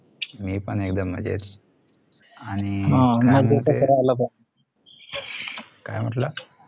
मी पण एकदम मजेत आणि काय म्हटला